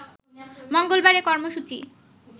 মঙ্গলবার এ কর্মসূচি